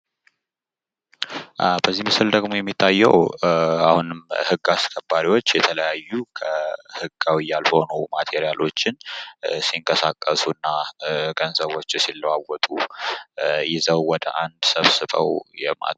በዚህ ምስል ደግሞ የሚታየው የህግ አስከባሪዎች የተለያዩ ህገወጥ እቃዎች ሲዘዋወሩና ገንዘብ ሲለዋወጡ ይዘው አንድላይ ሰብስበው የሚያሳይ ነው።